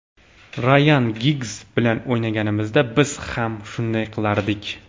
Rayan Giggz bilan o‘ynaganimizda, biz ham shunday qilardik.